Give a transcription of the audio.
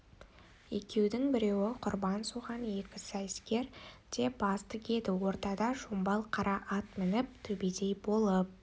екеудің біреуі құрбан соған екі сайыскер де бас тігеді ортада шомбал қара ат мініп төбедей болып